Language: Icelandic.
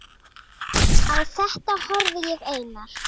Á þetta horfði ég, Einar